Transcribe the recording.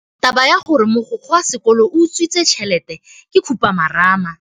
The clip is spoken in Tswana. Taba ya gore mogokgo wa sekolo o utswitse tšhelete ke khupamarama.